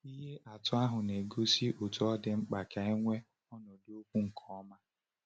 Ihe atụ ahụ na-egosi otú ọ dị mkpa ka e nwee ọnọdụ okwu nke ọma.